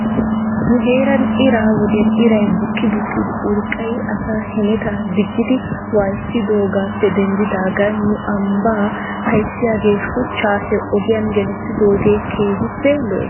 Nu heeran ira wodiyan iray bukki bukkidi urqqay asaa hemetaa diggidi waayissidoogaappe denddidaagan nu ambbaa ayssiyaagee shuchchaa he ogiyan gelissidoogee keehippe lo'ees.